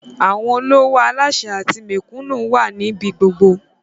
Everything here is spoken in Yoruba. Àwọn olówò, aláṣẹ àti mẹ̀kúnnù wà ní ibi gbogbo